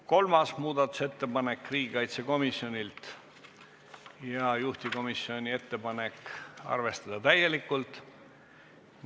Kolmas muudatusettepanek on riigikaitsekomisjonilt ja juhtivkomisjoni ettepanek on arvestada täielikult.